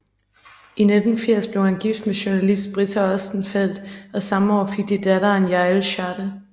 I 1980 blev han gift med jounalist Britta Ostenfeld og samme år fik de datteren Yael Schade